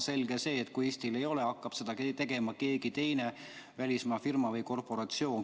Selge see, et kui Eestil neid inimesi ei ole, hakkab seda tegema keegi teine, välismaa firma või korporatsioon.